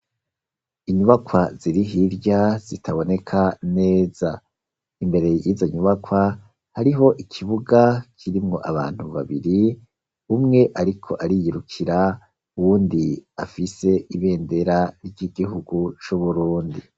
Inyubakwa ziri hirya, zitaboneka neza, imbere y'izo nyubakwa, hariho ikibuga kirimwo abantu babiri, umwe ariko ariyirukira, uwundi afise ibendera ry'igihugu c'Uburundi.